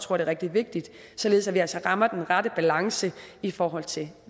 rigtig vigtigt således at vi altså rammer den rette balance i forhold til